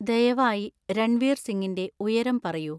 ദയവായി രൺവീർ സിങ്ങിന്റെ ഉയരം പറയൂ